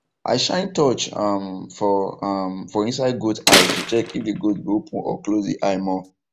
i shine torch um for um for inside goats eye to check if the goat go open or close the eye more